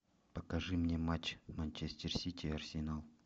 покажи мне матч манчестер сити и арсенал